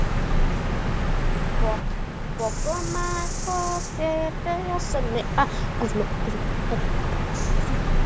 Hvernig verður lífið án þín?